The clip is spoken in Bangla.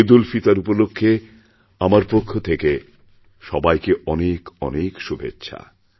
ঈদউলফিতর উপলক্ষে আমার পক্ষথেকে সবাইকে অনেক অনেক শুভেচ্ছা